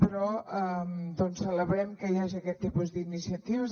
però doncs celebrem que hi hagi aquest tipus d’iniciatives